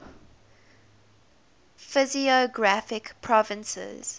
physiographic provinces